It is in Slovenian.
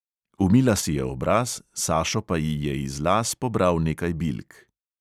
Umila si je obraz, sašo pa ji je iz las pobral nekaj bilk.